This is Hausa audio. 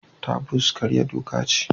Taboos karya doka ce.